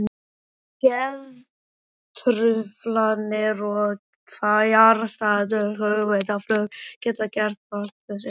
Geðtruflanir og fjarstæðukennt hugmyndaflug geta gert vart við sig.